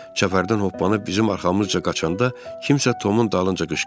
Çəpərdən hoppanıb bizim arxamızca qaçanda kimsə Tomun dalınca qışqırdı.